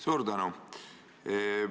Suur tänu!